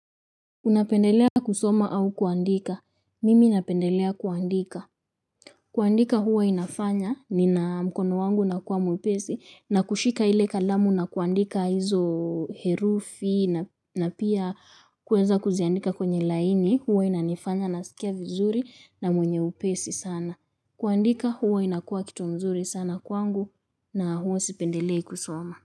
Unapendelea kusoma au kuandika. Mimi napendelea kuandika. Kuandika huwa inafanya nina mkono wangu unakuwa mwepesi na kushika ile kalamu na kuandika hizo herufi na pia kuweza kuziandika kwenye laini huwa inanifanya naskia vizuri na mwenye upesi sana. Kuandika huwa inakuwa kitu mzuri sana kwangu na huwa sipendelei kusoma.